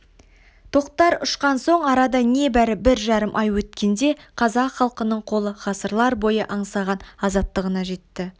тоқтар ұшқан соң арада небәрі бір жарым ай өткенде қазақ халқының қолы ғасырлар бойы аңсаған азаттығына жетті